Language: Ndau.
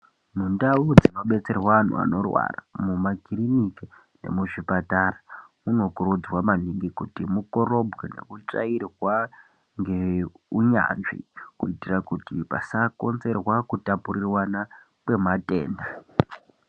Mu ndau dzino betserwa anhu anorwara mu makiriniki nemu zvipatara muno kurudzirwa maningi kuti mu korobwe neku tsvairwa nge unyanzvi ku itira kuti pasa konzerwa ku tapurirwana kwe matenda.